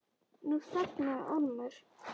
Nú þagnaði Ormur.